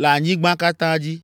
le anyigba katã dzi.